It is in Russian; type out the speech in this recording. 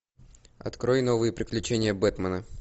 открой новые приключения бэтмена